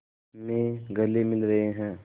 में गले मिल रहे हैं